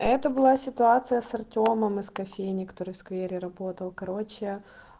это была ситуация с артёмом из кофейни который в сквере работал короче